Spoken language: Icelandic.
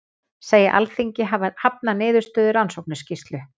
Segja Alþingi hafna niðurstöðu rannsóknarskýrslu